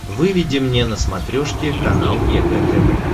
выведи мне на смотрешке канал егэ тв